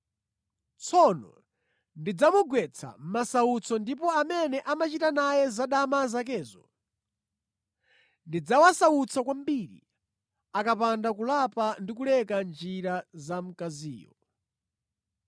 Tsono ndidzamugwetsa mʼmasautso ndipo amene amachita naye zadama zakezo ndidzawasautsa kwambiri akapanda kulapa ndi kuleka njira za mkaziyo.